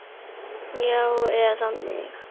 Já, eða mig?